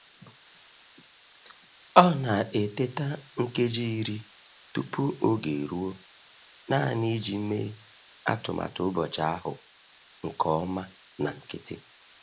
Ọ na-eteta nkeji iri tupu oge eruo naanị iji mee atụmatụ ụbọchị ahụ nke ọma na nkịtị.